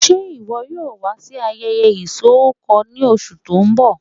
Ṣe iwọ yoo wa si ayẹyẹ isọkọ ni oṣu ti n bọ?